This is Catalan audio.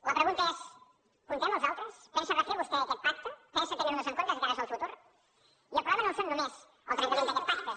la pregunta és comptem els altres pensa refer vostè aquest pacte pensa tenir nos en compte de cara al futur i el problema no és només el trencament d’aquest pacte